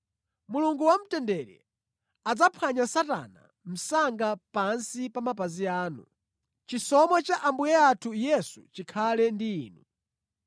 Mulungu wamtendere adzaphwanya Satana msanga pansi pa mapazi anu. Chisomo cha Ambuye athu Yesu chikhale ndi inu.